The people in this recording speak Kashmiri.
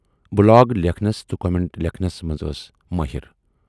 بلاگ لیکھنَس تہٕ کومینٹس لیکھنَس منز ٲس مٲہِر